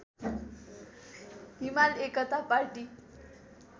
हिमाल एकता पाटी